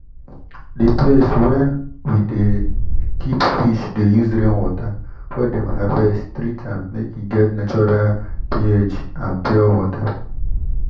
the place wen we de keep fish dey use rainwater wey dem harvest treat am make e get natural ph and pure water